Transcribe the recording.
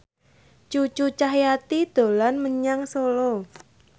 Cucu Cahyati dolan menyang Solo